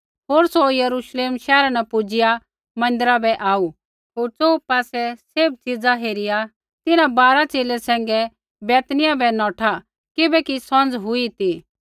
होर सौ यरूश्लेम शैहरा न पुजिआ मन्दिरा बै आऊ होर च़ोहू पासै सैभ च़ीज़ा हेरिया तिन्हां बारा च़ेले सैंघै बैतनिय्याह बै नौठा किबैकि सौंझ़ हुई ती